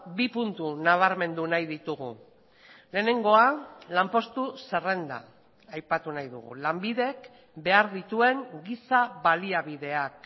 bi puntu nabarmendu nahi ditugu lehenengoa lanpostu zerrenda aipatu nahi dugu lanbidek behar dituen giza baliabideak